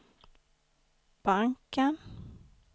banken